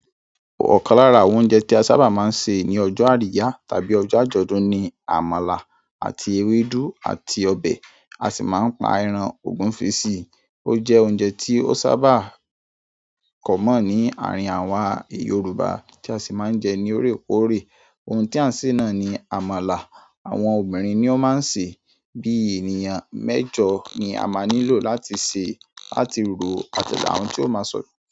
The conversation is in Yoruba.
Ọ̀kan lára àwọn oúnjẹ tí a sáabà ma ń sè ní ọjọ́ àríyá tàbí ọjọ́ àjọ̀dún ni àmàlà àti ewédú àti ọbẹ̀, a sì má ń pa ẹran ògúnfe sí i. Ó jẹ́ oúnjẹ tí ó sábà common ní àárín àwa Yorùbá tí a sì má ń jẹ ní oore koore. Ohun tí à ń sè náà ni àmàlà. Àwọn obìnrin ni ó máa ń sè é. Bí ènìyàn mẹ́jọ ni a máa nílò láti sè é, láti ro àti àwọn tí ó máa sọ̀